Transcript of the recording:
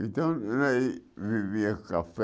Então, nós vivia café.